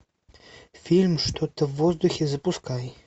фильм что то в воздухе запускай